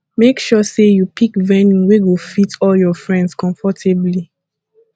make sure say you pick venue wey go fit all your friends comfortably